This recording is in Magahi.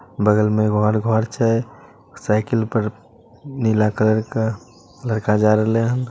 बगल में एगो और घर छै साइकिल पर नीला कलर क लड़का जा रहले हन।